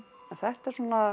en þetta